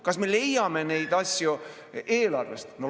Kas me leiame neid asju eelarvest?